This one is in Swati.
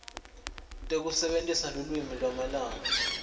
tekusebentisa lulwimi lwamalanga